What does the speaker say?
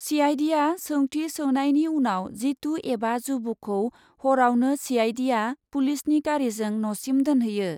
सिआइडिआ सौंथि सोनायनि उनाव जितु एबा जुबुखौ हरावनो सिआइडिआ पुलिसनि गारिजों न'सिम दोनहैयो ।